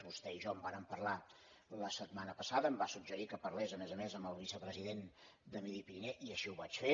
vostè i jo en vàrem parlar la setmana passada em va suggerir que parlés a més a més amb el vicepresident de midi pyrénées i així ho vaig fer